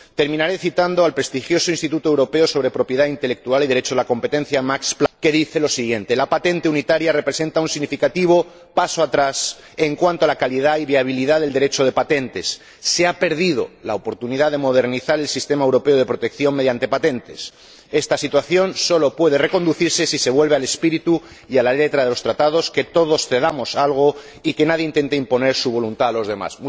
Terminaré citando al prestigioso Instituto Europeo Max Planck para la Propiedad Intelectual y el Derecho de la Competencia, que señala que la patente unitaria representa un significativo paso atrás en cuanto a la calidad y viabilidad del Derecho de patentes, que se ha perdido la oportunidad de modernizar el sistema europeo de protección mediante patentes y que esta situación solo puede reconducirse si se vuelve al espíritu y a la letra de los Tratados, si todos cedemos algo y si nadie intenta imponer su voluntad a los demás.